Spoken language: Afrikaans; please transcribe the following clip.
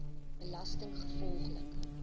belastinggevolglik